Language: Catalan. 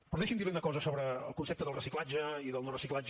però deixi’m dir li una cosa sobre el concepte del reciclatge i del no reciclatge